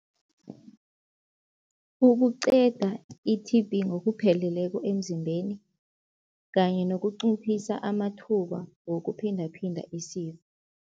Ukuqeda i-T_B ngokupheleleko emzimbeni kanye nokunciphisa amathuba wokuphindaphinda